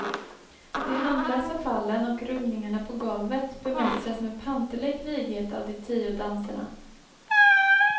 De handlösa fallen och rullningarna på golvet bemästras med panterlik vighet av de tio danserna.